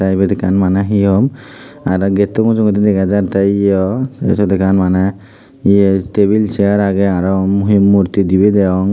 teh ebet ekkan maneh he hom aroh gettu mujongedi dega jatteh eyoh asod ekkan maneh table chair ageh aroh murti dibeh degong.